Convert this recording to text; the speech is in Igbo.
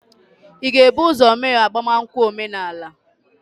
ị ga-ebu ụzọ mee agbamakwụkwọ omenala?